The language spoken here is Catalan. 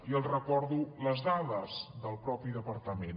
i els recordo les dades del mateix departament